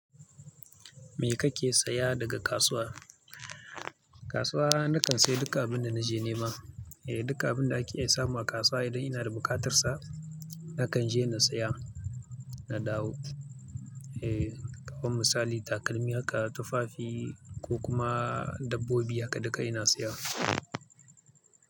Me kake saya daga kasuwa? Kasuwa na kan saya duka abin da na je nema. Eh, duka abin da ake iya samu a kasuwa idan ina da buƙatar sa, na kan je na saya, na dawo. Eh, kaman misali takalmi haka, tufafi ko kuma dabbobi haka duka ina saya.